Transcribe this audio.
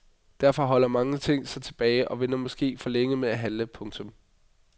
Derfor holder mange sig tilbage og venter måske for længe med at handle. punktum